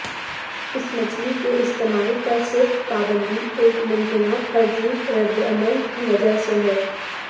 اس مچھلی کے استعمال پر صرف پابندی ایک ممکنہ الرجیک ردعمل کی وجہ سے ہے